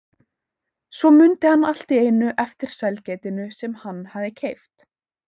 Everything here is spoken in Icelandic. Svo mundi hann allt í einu eftir sælgætinu sem hann hafði keypt.